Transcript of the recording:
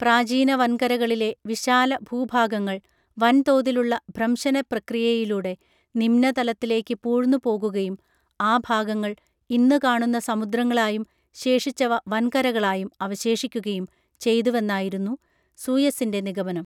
പ്രാചീന വൻകരകളിലെ വിശാല ഭൂഭാഗങ്ങൾ വൻ തോതിലുള്ള ഭ്രംശന പ്രക്രിയയിലൂടെ നിമ്നതലത്തിലേക്ക് പൂഴ്ന്നുപോകുകയും ആ ഭാഗങ്ങൾ ഇന്നു കാണുന്ന സമുദ്രങ്ങളായും ശേഷിച്ചവ വൻകരകളായും അവശേഷിക്കുകയും ചെയ്തുവെന്നായിരുന്നു സൂയസ്സിൻറെ നിഗമനം